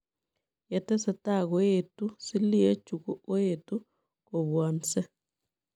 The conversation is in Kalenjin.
Yetesetai koetuu silie chuu koetu kobwansei.